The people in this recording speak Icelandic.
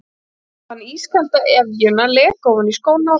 Hann fann ískalda efjuna leka ofan í skóna og fylla þá.